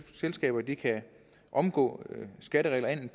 selskaber kan omgå skatteregler enten